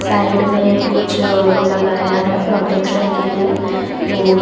Side में कुछ लगाया है प्रोटेक्शन के लिए वो।